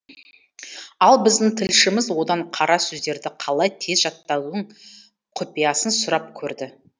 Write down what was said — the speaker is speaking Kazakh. ал біздің тілшіміз одан қара сөздерді қалай тез жаттаудың құпиясын сұрап көрді